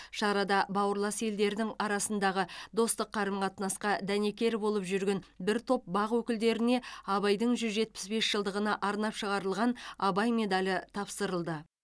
шарада бауырлас елдердің арасындағы достық қарым қатынасқа дәнекер болып жүрген бір топ бақ өкілдеріне абайдың жүз жетпіс бес жылдығына арнап шығарылған абай медалі тапсырылды